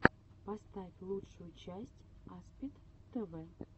поставь лучшую часть аспид тв